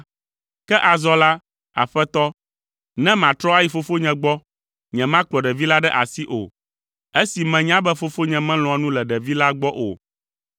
Ke azɔ la, aƒetɔ, ne matrɔ ayi fofonye gbɔ, nyemakplɔ ɖevi la ɖe asi o, esi menya be fofonye melɔ̃a nu le ɖevi la gbɔ o,